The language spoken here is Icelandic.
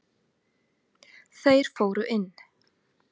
Þeir fóru inn.